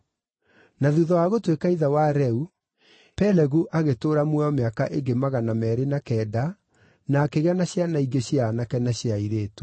Na thuutha wa gũtuĩka ithe wa Reu, Pelegu agĩtũũra muoyo mĩaka ĩngĩ magana meerĩ na kenda na akĩgĩa na ciana ingĩ cia aanake na cia airĩtu.